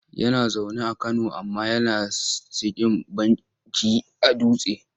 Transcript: Yana zaune a Kano amma yana sikin banki a Dutse.